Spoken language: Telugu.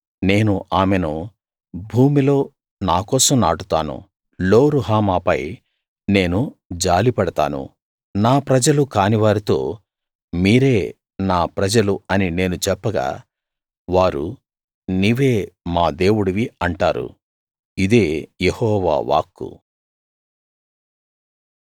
నేను ఆమెను భూమిలో నాకోసం నాటుతాను లో రుహమా పై నేను జాలి పడతాను నా ప్రజలు కానివారితో మీరే నా ప్రజలు అని నేను చెప్పగా వారు నీవే మా దేవుడివి అంటారు ఇదే యెహోవా వాక్కు